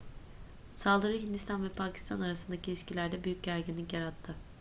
saldırı hindistan ve pakistan arasındaki ilişkilerde büyük gerginlik yarattı